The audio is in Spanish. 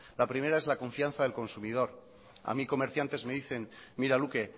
la primera es la confianza del consumidor a mí comerciantes me dicen mira luke